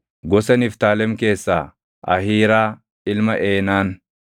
gosa Niftaalem keessaa Ahiiraa ilma Eenaan.”